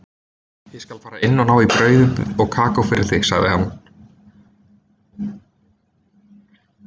Ég skal fara inn og ná í brauð og kakó fyrir þig, sagði hann.